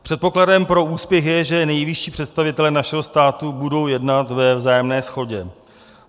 Předpokladem pro úspěch je, že nejvyšší představitelé našeho státu budou jednat ve vzájemné shodě.